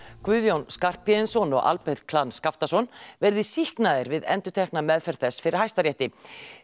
Guðjón Skarphéðinsson og Albert Skaftason verði sýknaðir við endurtekna meðferð þess fyrir Hæstarétti